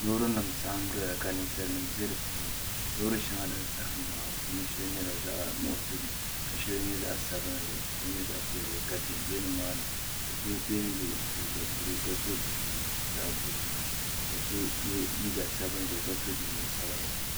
Loori nim n saɣam ʒɛya ka ninsal nim bɛ di puuni loori shɛŋa din saɣam maa di shɛli nyɛla zaɣ nuɣso ka shɛli nyɛ zaɣ sabinli ka shɛli nyɛ zaɣ piɛlli ka bihi ʒɛ nimaani so biɛni yɛ liiga buluu ka so jinjɛm zaɣ buluu ka so yɛ liiga sabinli ka so jinjɛm sabinli